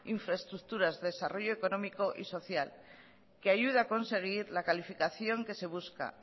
infraestructuras desarrollo económico y social que ayude a conseguir la calificación que se busca